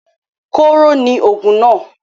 Kóro ni òògùn náà.